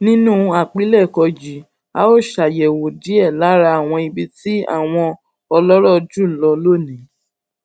nínú àpilèkọ yìí a óò ṣàyèwò díè lára àwọn ibi tí àwọn ọlórò jù lọ jù lọ ní